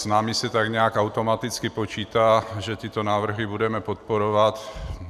S námi se tak nějak automaticky počítá, že tyto návrhy budeme podporovat.